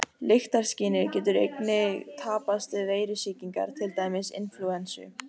Lyktarskynið getur einnig tapast við veirusýkingar, til dæmis inflúensu.